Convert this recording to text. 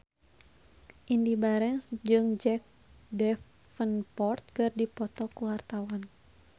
Indy Barens jeung Jack Davenport keur dipoto ku wartawan